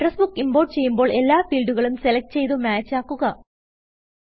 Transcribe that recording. address book import ചെയ്യുമ്പോൾ എല്ലാ ഫീൽഡുകളും സെലക്ട് ചെയ്ത് മാച്ച് ആക്കുക